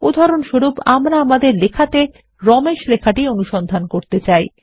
উদাহরণস্বরূপ আমরা আমাদের লেখাতে রমেশ লেখাটি অনুসন্ধান করতে চাই